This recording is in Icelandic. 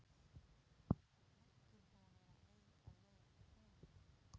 Jóhann: Margir búnir að eiga leið um?